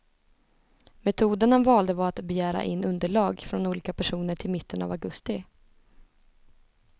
Metoden han valde var att begära in underlag från olika personer till mitten av augusti.